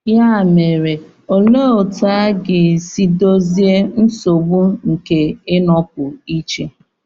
Ya mere, olee otú a ga-esi dozie nsogbu nke ịnọpụ iche?